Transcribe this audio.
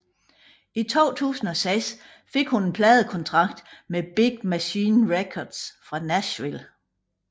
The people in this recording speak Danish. I 2006 fik hun en pladekontrakt med Big Machine Records fra Nashville